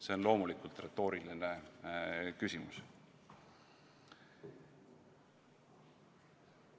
See on loomulikult retooriline küsimus.